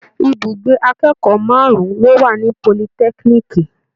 Ibùgbé akẹ́kọ̀ọ́ márùn-ún ló wà ní politẹ́kínííkì.